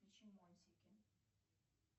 включи мультики